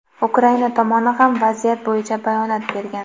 Ukraina tomoni ham vaziyat bo‘yicha bayonot bergan.